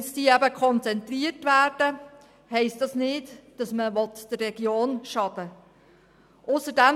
Werden diese Stellen konzentriert, bedeutet das nicht, dass man der Region schaden will.